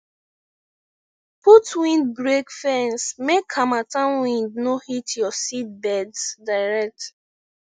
put windbreak fence make harmattan wind no hit your seedbeds direct